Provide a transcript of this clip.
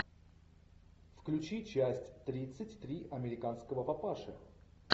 включи часть тридцать три американского папаши